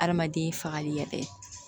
Adamaden fagali yɛrɛ